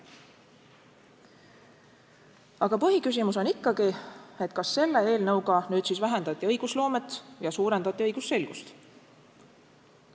Aga põhiküsimus on ikkagi: kas selle eelnõuga nüüd siis vähendati õigusloomet ja suurendati õigusselgust?